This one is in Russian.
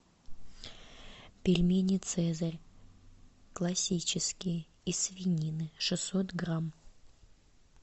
пельмени цезарь классический из свинины шестьсот грамм